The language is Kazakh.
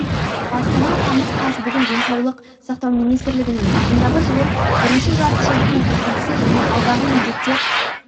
астана тамыз қаз бүгін денсаулық сақтау министрлігінің ағымдағы жылғы бірінші жарты жылдықтың қорытындысы және алдағы міндеттер